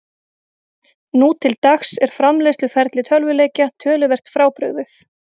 Nú til dags er framleiðsluferli tölvuleikja töluvert frábrugðið.